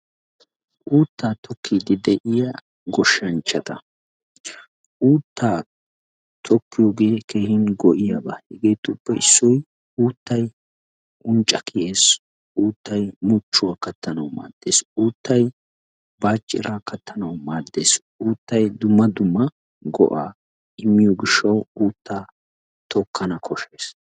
Uuttaa tokkiiddi de"iya goshshanchata uuttaa tokkiyoogee keehin go"iyaaba. Hegeetuppe issoy uuttay uncca kiyes, uuttay muchchuwa kattanawu maaddes, uuttay baacciraa kattanawu maaddes, uuttay dumma dumma go"aa immiyo gishshawu uuttaa tokkana koshshees.